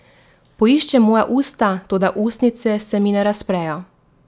Poišče moja usta, toda ustnice se mi ne razprejo.